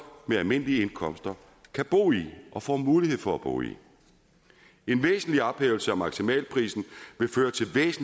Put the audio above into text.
med almindelige indkomster kan bo i og få mulighed for at bo i en væsentlig ophævelse af maksimalprisen